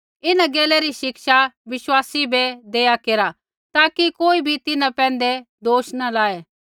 इन्हां गैला री शिक्षा विश्वासी बै देआ केरा ताकि कोई भी तिन्हां पैंधै दोष न लाऐ